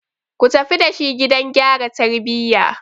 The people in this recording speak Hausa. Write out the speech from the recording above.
Ku tafi da shi gidan gyara tarbiyya!